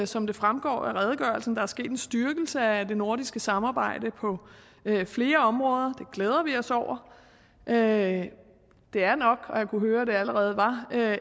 som det fremgår af redegørelsen er sket en styrkelse af det nordiske samarbejde på flere områder og det glæder vi os over det det er nok og jeg kunne høre at det allerede var